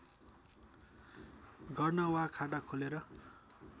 गर्न वा खाता खोलेर